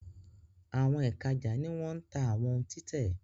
Èka ítàjà ní wón tá àwọn òún títè